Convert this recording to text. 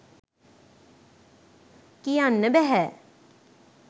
කියන්න බැහැ.